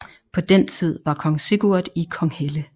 På den tid var kong Sigurd i Konghelle